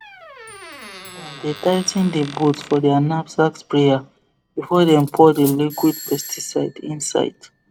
dem dey tigh ten the bolt for their knapsack sprayer before dem pour the liquid pesticide inside